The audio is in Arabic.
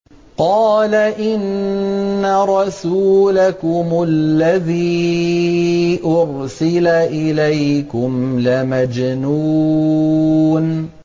قَالَ إِنَّ رَسُولَكُمُ الَّذِي أُرْسِلَ إِلَيْكُمْ لَمَجْنُونٌ